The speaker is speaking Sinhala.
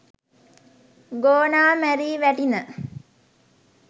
ගෝනා මැරී වැටිණ